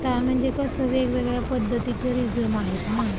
आता म्हणजे कसं, की वेगवेगळ्या पद्धतीचे रिझ्यूम आहेत ना!